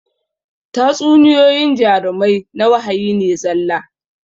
Tatsuniyoyyin jarumai na wahayi ne zalla